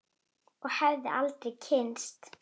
Og hefði aldrei kynnst